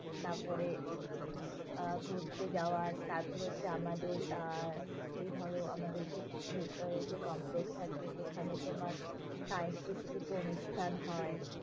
তারপরে আহ ঘুরতে যাওয়ার, তারপরে হচ্ছে আমাদের আর, এই ধরো আমাদের যে ভেতরের যে complex টা আছে, সেখানে তোমার সাংস্কৃতিক কিছু অনুষ্ঠান হয়,